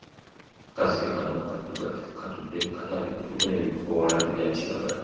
Akazike kano kaddugavu katudde kkatabi kuliko n'ebikoola ebya kiragala.